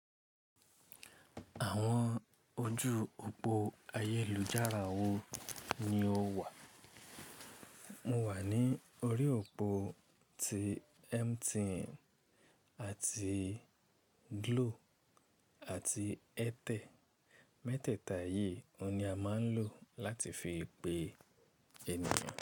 Àwọn ojú òpó ayélujára wo ni ó wà? Mo wà ní orí òpó ti MTN àti Glo àti Airtel. Mẹ́tẹ̀ẹ̀ta yìí ni a máa ń lò láti fi pe ènìyàn.